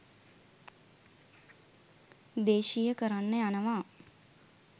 දේශීය කරන්න යනවා